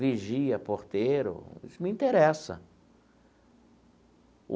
Vigia, porteiro, isso me interessa.